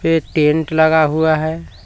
ये टेंट लगा हुआ है।